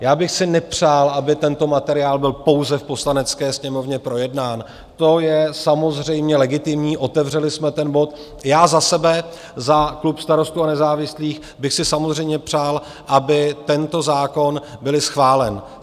Já bych si nepřál, aby tento materiál byl pouze v Poslanecké sněmovně projednán - to je samozřejmě legitimní, otevřeli jsme ten bod - já za sebe, za klub Starostů a nezávislých, bych si samozřejmě přál, aby tento zákon byl schválen.